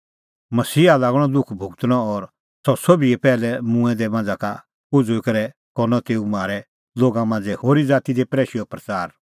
मसीहा लागणअ दुख भुगतणअ और सह सोभी का पैहलै मूंऐं दै मांझ़ा का उझ़ुई करै करनअ तेऊ म्हारै लोगा मांझ़ै और होरी ज़ाती दी प्रैशैओ प्रच़ार